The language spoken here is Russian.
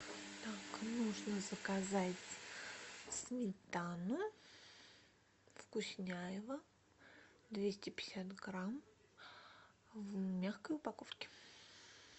так нужно заказать сметану вкусняево двести пятьдесят грамм в мягкой упаковке